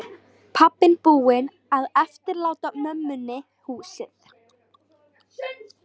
Pabbinn búinn að eftirláta mömmunni húsið.